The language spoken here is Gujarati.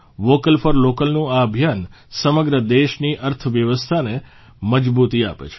વોકલ ફોર લોકલનું આ અભિયાન સમગ્ર દેશની અર્થવ્યવસ્થાને મજબૂતી આપે છે